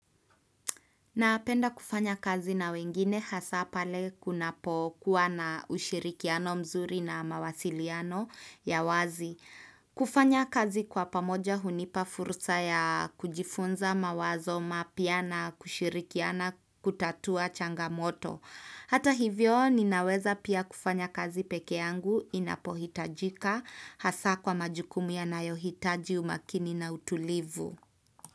Napenda kufanya kazi na wengine hasa pale kunapo kuwa na ushirikiano mzuri na mawasiliano ya wazi. Kufanya kazi kwa pamoja hunipa fursa ya kujifunza mawazo mapya na kushirikiana kutatua changamoto. Hata hivyo ninaweza pia kufanya kazi peke yangu inapohitajika hasa kwa majukumu yanayohitaji umakini na utulivu.